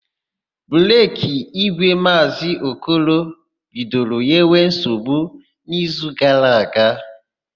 Breki ígwè Maazị Okoro bidoro nyewe nsogbu n'izu gara aga.